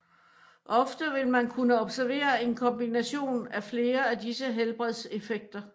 Ofte vil man kunne observere en kombination av flere af disse helbredseffekter